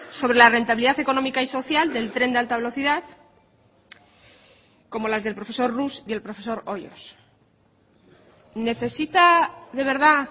sobre la rentabilidad económica y social del tren de alta velocidad como las del profesor rus y el profesor hoyos necesita de verdad